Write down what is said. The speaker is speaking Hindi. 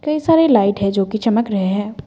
कई सारे लाइट है जोकि चमक रहे हैं।